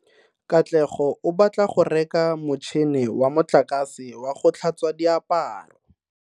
Katlego o batla go reka motšhine wa motlakase wa go tlhatswa diaparo.